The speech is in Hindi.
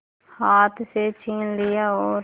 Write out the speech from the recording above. हाथ से छीन लिया और